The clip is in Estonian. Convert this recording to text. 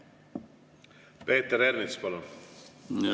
Peeter Ernits, palun!